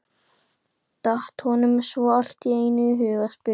datt honum svo allt í einu í hug að spyrja.